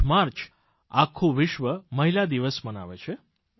8 March આખું વિશ્વ મહિલા દિવસ મનાવે છે